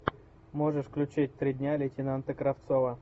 можешь включить три дня лейтенанта кравцова